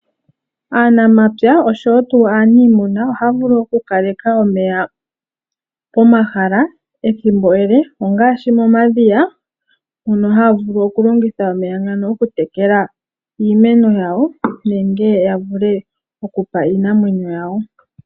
Aanamapya oshowo aanimuna ohaya vulu okukaleka omeya pomahala ethimbo ele ngaashi momadhiya mono haya vulu okulongitha omeya ngano okutekela iimeno yawo nenge ya vule okupa iinamwenyo yawo.